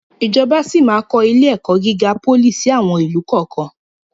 Ìjọba síí máa kọ ilé-ẹ̀kọ́ gíga pólì síí àwọn ìlú kọ̀ọ̀kan.